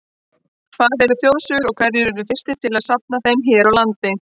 Hvað eru þjóðsögur og hverjir urðu fyrstir til að safna þeim hér á landi?